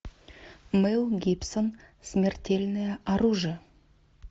мэл гибсон смертельное оружие